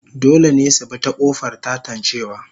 Dole ne su bi ta kofar tatancewa